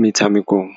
metshamekong.